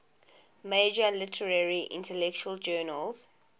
major literary intellectual journals